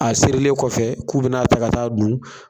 A sɛrilen kɔfɛ k'u bɛna a ta ka t'a don.